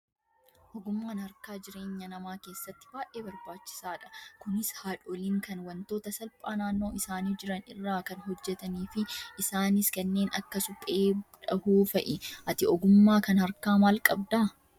Ogummaan harkaa jireenya namaa keessatti baay'ee barbaachisaadha. Kunis haadholiin kan wantoota salphaa naannoo isaanii jiran irraa kan hojjatanii fi isaanis kanneen akka suphee dhahuu fa'i. Ati ogummaa kan harkaa maal qabdaa?